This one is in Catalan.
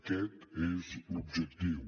aquest és l’objectiu